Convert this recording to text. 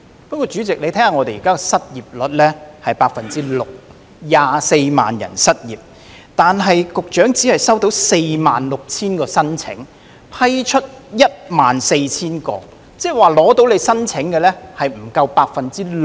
不過，主席，香港現時的失業率是 6%， 共有24萬人失業，但局長只收到46000份申請，並批出14000宗，換言之，成功申請的失業人士不足 6%。